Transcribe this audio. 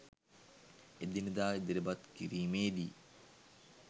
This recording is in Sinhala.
එදිනෙදා ඉදිරිපත් කිරීමේදී